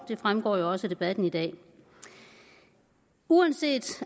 det fremgår jo også af debatten i dag uanset